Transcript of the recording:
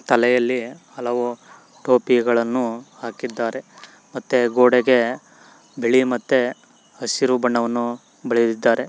ತಲೆಯಲ್ಲಿ ಹಲವು ಟೋಪಿಗಳನ್ನು ಹಾಕಿದ್ದಾರೆ ಮತ್ತೆ ಗೋಡೆಗೆ ಬಿಳಿ ಮತ್ತೆ ಹಸಿರು ಬಣ್ಣವನ್ನು ಬಳೆದಿದ್ದಾರೆ.